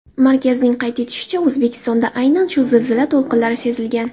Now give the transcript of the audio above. Markazning qayd etishicha, O‘zbekistonda aynan shu zilzila to‘lqinlari sezilgan.